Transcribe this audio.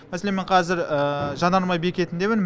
мәселен мен қазір жанармай бекетіндемін